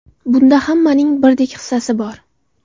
Bunda hammaning birdek hissasi bor.